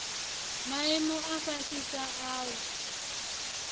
maimo a fhasisa a u